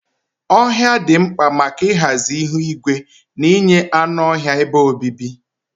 Ohia dị mkpa maka ịhazi ihu igwe na inye anụ ọhịa ebe obibi.